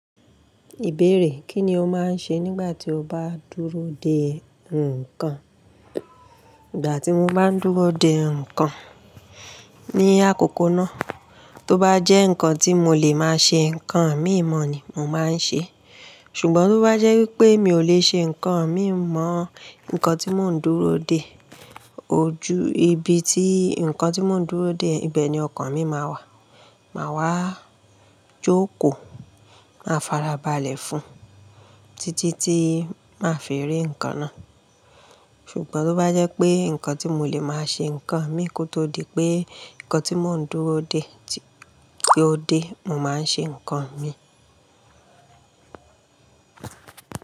Ìbéèrè, Kí ni o máa ń ṣe nígbà tí o bá dúró de ǹkan? Ìgbà tí mo bá ń dúró de ǹkan ní àkọkọ náà, tó bá jẹ́ ǹkan tí mo lè máa ṣe ǹkan mi mọ̀ ni, mo máa ń ṣe. Ṣùgbọ́n tó bá jẹ́ wípé mi ò lè ṣe ǹkan mi mọ̀ ǹkan tí mò ń dúró de, ojú ibi tí ǹkan tí mò ń dúró de, ibẹ̀ ni ọkàn mi máa wà. Máa wá jókòó, máa farabalẹ̀ fún un títí tí màá fi rí ǹkan náà. Ṣùgbọ́n tó bá jẹ́ pé ǹkan tí mo lè máa ṣe ǹkan mi kó tó di pé ǹkan tí mò ń dúró de tí ó dé, mo máa ń ṣe ǹkan mi.